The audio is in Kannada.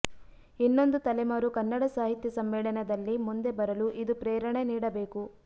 ಇನ್ನೊಂದು ತಲೆಮಾರು ಕನ್ನಡ ಸಾಹಿತ್ಯ ಸಮ್ಮೇಳನದಲ್ಲಿ ಮುಂದೆ ಬರಲು ಇದು ಪ್ರೇರಣೆ ನೀಡಬೇಕು